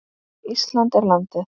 Ísland er landið.